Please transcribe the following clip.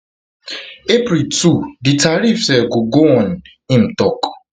april two di tariffs um go go on im im tok